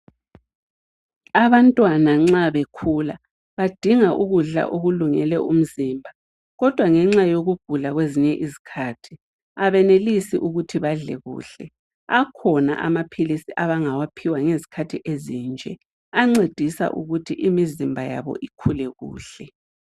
Abantwana nxa bekhula badinga ukudla okulungele umzimba kodwa ngenxa yokugula kwezinye izikhathi abenelisi ukuthi badle kuhle akhona amaphilisi abangawaphiwa ngezikhathi ezinje ancedisa ukuthi imizimba yabo ikhule kuhle.